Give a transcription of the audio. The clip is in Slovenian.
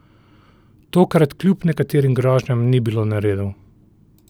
Tokrat kljub nekaterim grožnjam ni bilo neredov.